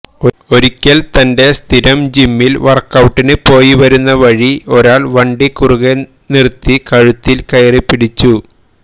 ഒരിക്കല് തന്റെ സ്ഥിരം ജിമ്മില് വര്ക്ഔട്ടിന് പോയിവരുന്നവഴി ഒരാള് വണ്ടി കുറുകെ നിര്ത്തി കഴുത്തില് കയറിപ്പിടിച്ചു